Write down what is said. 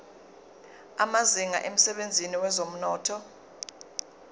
amazinga emsebenzini wezomnotho